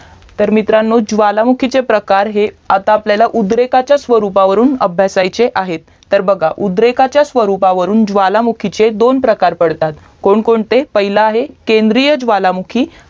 तर मित्रांनो ज्वालामुखीचे प्रकार हे आता आपल्याला उद्रेकाचा स्वरूपावरून अभ्यासाचे आहेत तर बघा उद्रेकाच्या स्वरूपावरून ज्वालामुखीचे दोन प्रकार पडतात कोण कोणते पाहिले केंद्रीय ज्वालामुखी